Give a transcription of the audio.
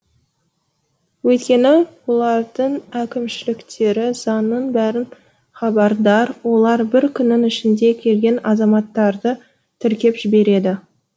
өйткені олардың әкімшіліктері заңның бәрін хабардар олар бір күннің ішінде келген азаматтарды тіркеп жібереді